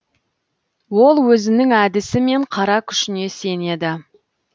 ол өзінің әдісі мен қара күшіне сенеді